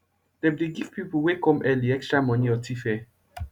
dem dey give pipo wey come early extra moni or tfare